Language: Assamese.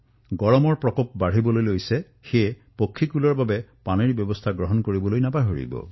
গৰম বাঢ়িবলৈ ধৰিছে সেইবাৰে পক্ষীৰ বাবে পানীৰ যোগান ধৰিবলৈ নাপাহৰিব